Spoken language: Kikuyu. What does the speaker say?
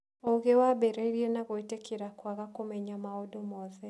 Ũũgĩ wambĩrĩirie na gwĩtĩkĩra kwaga kũmenya maũndũ mothe.